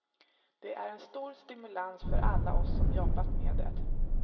Det är en stor stimulans för alla oss som jobbat med det.